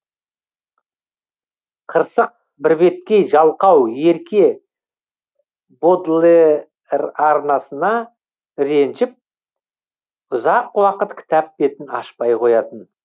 қырсық бірбеткей жалқау ерке бодлерарнасына ренжіп ұзақ уақыт кітап бетін ашпай қоятын